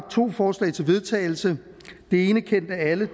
to forslag til vedtagelse det ene kendt af alle